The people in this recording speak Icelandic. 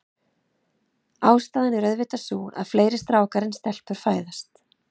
Ástæðan er auðvitað sú, að fleiri strákar en stelpur fæðast.